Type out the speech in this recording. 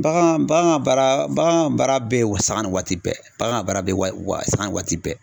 Bagan bagan ka baara bagan ka baara bɛ sanga ni waati bɛɛ bagan ka baara bɛ wa sanga ni waati bɛɛ.